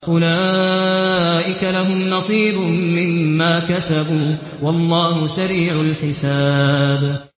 أُولَٰئِكَ لَهُمْ نَصِيبٌ مِّمَّا كَسَبُوا ۚ وَاللَّهُ سَرِيعُ الْحِسَابِ